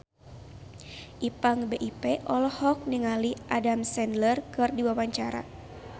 Ipank BIP olohok ningali Adam Sandler keur diwawancara